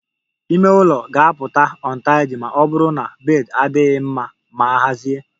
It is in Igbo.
Ime ụlọ ga-apụta untidy ma ọ bụrụ na bed adịghị mma ma hazie